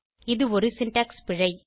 இது ஒரு சின்டாக்ஸ் பிழை